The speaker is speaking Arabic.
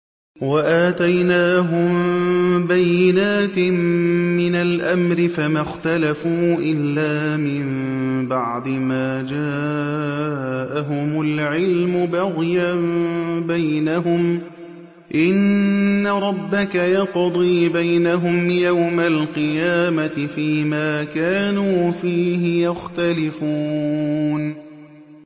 وَآتَيْنَاهُم بَيِّنَاتٍ مِّنَ الْأَمْرِ ۖ فَمَا اخْتَلَفُوا إِلَّا مِن بَعْدِ مَا جَاءَهُمُ الْعِلْمُ بَغْيًا بَيْنَهُمْ ۚ إِنَّ رَبَّكَ يَقْضِي بَيْنَهُمْ يَوْمَ الْقِيَامَةِ فِيمَا كَانُوا فِيهِ يَخْتَلِفُونَ